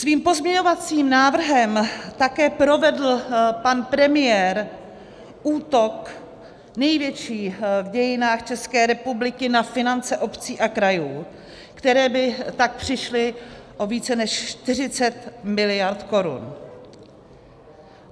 Svým pozměňovacím návrhem také provedl pan premiér útok, největší v dějinách České republiky, na finance obcí a krajů, které by tak přišly o více než 40 miliard korun.